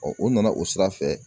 o nana o sira fɛ.